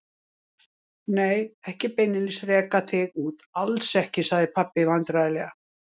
Nei, ekki beinlínis reka þig út, alls ekki, sagði pabbi vandræðalega.